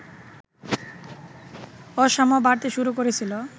অসাম্য বাড়তে শুরু করেছিল